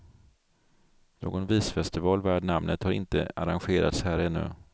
Någon visfestival värd namnet har inte arrangerats här ännu.